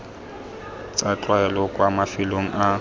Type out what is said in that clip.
tsa tlwaelo kwa mafelong a